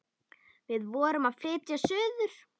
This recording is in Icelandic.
Við vorum að flytja suður.